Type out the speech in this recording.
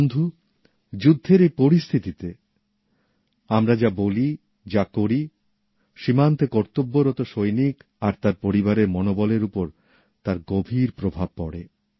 বন্ধু যুদ্ধের এই পরিস্থিতিতে আমরা যা বলি যা করি সীমান্তে কর্তব্যরত সৈনিক আর তার পরিবারের মনোবলের উপর তার গভীর প্রভাব পড়ে